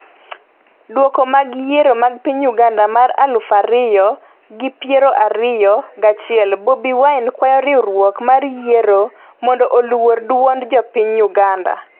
Duoko mag yiero mag piny Uganda mar aluf ariyo gi piero ariyo gachiel: Bobi wine kwayo riwruok mar yiero mondo oluor duond jopiny Uganda